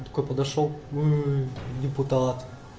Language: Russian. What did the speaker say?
такой подошёл депутат